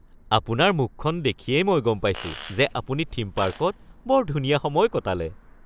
আপোনাৰ মুখখন দেখিয়েই মই গম পাইছোঁ যে আপুনি থীম পাৰ্কত বৰ ধুনীয়া সময় কটালে